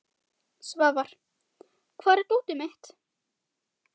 Svafar, hvar er dótið mitt?